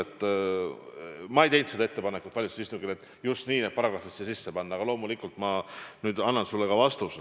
Mina ei teinud valitsuse istungil ettepanekut just niisugused paragrahvid siia sisse panna, aga loomulikult ma annan sulle nende kohta vastuse.